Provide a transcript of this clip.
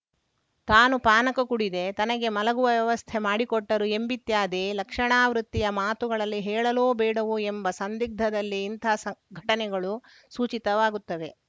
ತಾನು ಪಾನಕ ಕುಡಿದೆ ತನಗೆ ಮಲಗುವ ವ್ಯವಸ್ಥೆ ಮಾಡಿಕೊಟ್ಟರು ಎಂಬಿತ್ಯಾದಿ ಲಕ್ಷಣಾವೃತ್ತಿಯ ಮಾತುಗಳಲ್ಲಿ ಹೇಳಲೋ ಬೇಡವೋ ಎಂಬ ಸಂದಿಗ್ಧದಲ್ಲೇ ಇಂಥ ಸಂಘ್ ಘಟನೆಗಳು ಸೂಚಿತವಾಗುತ್ತವೆ